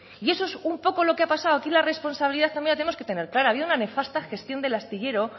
y eso es un poco lo que ha pasado aquí la responsabilidad también la tenemos que tener clara ha habido una nefasta gestión del astillero